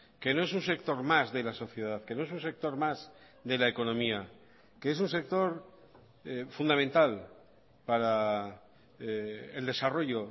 que no es un sector más de la sociedad que no es un sector más de la economía que es un sector fundamental para el desarrollo